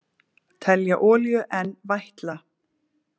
Telja olíu enn vætla